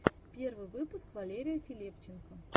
первый выпуск валерия филипченко